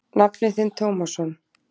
Nafni þinn Tómasson.